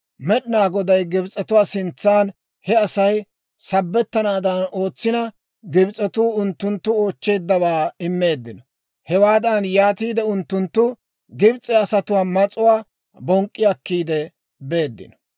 Med'inaa Goday Gibs'etuwaa sintsan he Asay sabettanaadan ootsina, Gibs'etuu unttunttu oochcheeddawaa immeeddino. Hewaadan yaatiide unttunttu Gibs'e asatuwaa mas'uwaa bonk'k'i akkiide beeddino.